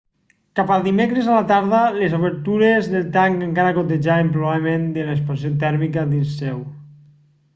cap al dimecres a la tarda les obertures del tanc encara gotejaven probablement de l'expansió tèrmica dins seu